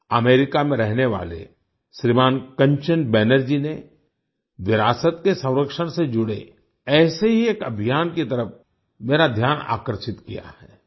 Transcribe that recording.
America में रहने वाले श्रीमान कंचन बैनर्जी ने विरासत के संरक्षण से जुड़े ऐसे ही एक अभियान की तरफ मेरा ध्यान आकर्षित किया है